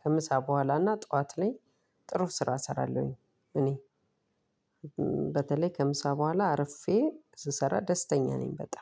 ከምሳ በኋላና ጠዋት ላይ ጥሩ ስራ እሰራለሁኝ። እኔ በተለይ ከምሳ በኋላ አርፌ ስሰራ ደስተኛ ነኝ በጣም።